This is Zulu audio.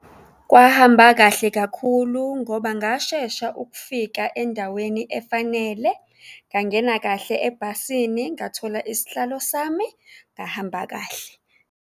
Kwahamba kahle kakhulu ngoba ngashesha ukufika endaweni efanele, ngangena kahle ebhasini, ngathola isihlalo sami, ngahamba kahle.